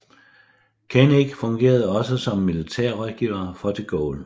Kœnig fungerede også som militær rådgiver for de Gaulle